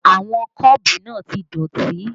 Àwọn kọ́ọ̀bù náà ti dọ̀tí